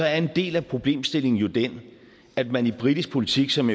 er en del af problemstillingen jo den at man i britisk politik som